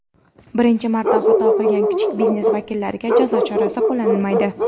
Birinchi marta xato qilgan kichik biznes vakillariga jazo chorasi qo‘llanilmaydi.